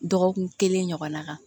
Dɔgɔkun kelen ɲɔgɔnna kan